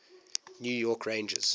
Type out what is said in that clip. new york rangers